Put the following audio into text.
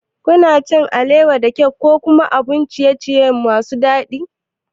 Kuna cin alewa, cake ko abun ciye-ciye masu daɗi?